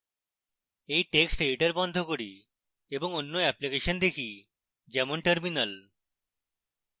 এই text editor বন্ধ করি এবং অন্য অ্যাপ্লিকেশন দেখি যেমন terminal